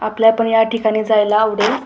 आपल्याला तर याठिकाणी जायला आवडेल.